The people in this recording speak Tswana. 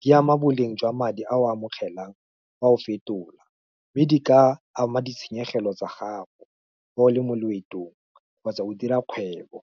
di ama boleng jwa madi a o a amogelang, fa o fetola, mme di ka ama ditshenyegelo tsa gago, fa o le mo loetong, kgotsa o dira kgwebo.